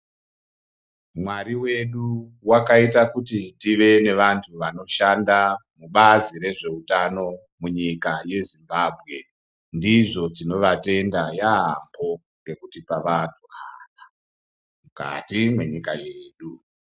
Mwari wedu wakaita kuti tive nevantu vanoshanda mubazi rezveutano ndizvo tinovatenda yaampo ngekutipa vantu mukati mwenyika yedu.